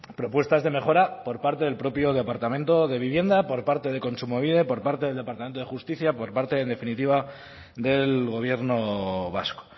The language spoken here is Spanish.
propuestas de mejora por parte del propio departamento de vivienda por parte de kontsumobide por parte del departamento de justicia por parte en definitiva del gobierno vasco